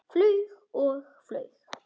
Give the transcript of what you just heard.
Flaug og flaug.